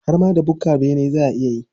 Har ma da bukkar bene za a iya yi.